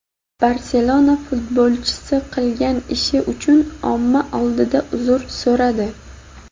"Barselona" futbolchisi qilgan ishi uchun omma oldida uzr so‘radi.